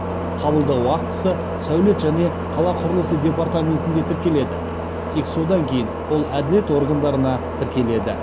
қабылдау актісі сәулет және қала құрылысы департаментінде тіркеледі тек содан кейін ол әділет органдарында тіркеледі